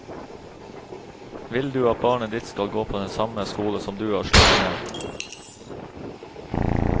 Vil du at barnet ditt skal gå på den samme skole som du har slitt ned.